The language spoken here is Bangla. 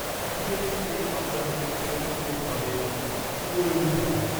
ডিএসইতে কোম্পানিটির ট্রেডিং কোড হবে ঊএঊঘ